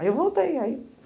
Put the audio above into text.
Aí eu voltei aí